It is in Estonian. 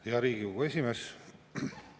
Hea Riigikogu esimees!